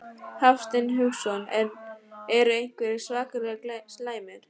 Hafsteinn Hauksson: En eru einhverjir svakalega slæmir?